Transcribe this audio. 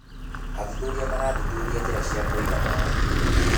Athuthuria marathuthuria njĩra cia kũiga maĩ.